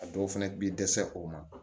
A dɔw fɛnɛ bi dɛsɛ o ma